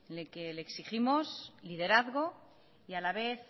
en el que le exigimos liderazgo y a la vez